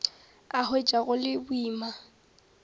a hwetša go le boima